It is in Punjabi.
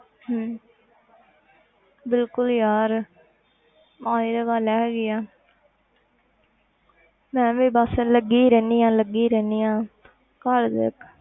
ਹਮ ਬਿਲਕੁਲ ਯਾਰ ਹਾਂ ਇਹ ਤੇ ਗੱਲ ਹੈਗੀ ਹੈ ਮੈਂ ਵੀ ਬਸ ਲੱਗੀ ਹੀ ਰਹਿੰਦੀ ਹਾਂ ਲੱਗੀ ਹੀ ਰਹਿੰਦੀ ਹਾਂ ਘਰ ਦੇ